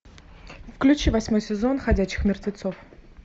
включи восьмой сезон ходячих мертвецов